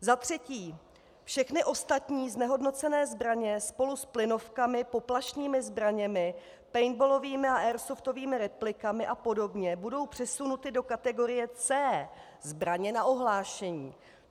Za třetí, všechny ostatní znehodnocené zbraně spolu s plynovkami, poplašnými zbraněmi, paintballovými a airsoftovými replikami a podobně budou přesunuty do kategorie C - zbraně na ohlášení.